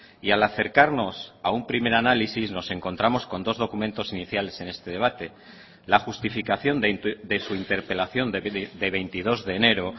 y al acercarnos a un primer análisis nos encontramos con dos documentos iniciales en este debate la justificación de su interpelación de veintidós de enero